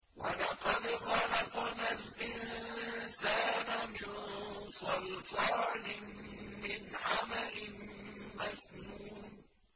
وَلَقَدْ خَلَقْنَا الْإِنسَانَ مِن صَلْصَالٍ مِّنْ حَمَإٍ مَّسْنُونٍ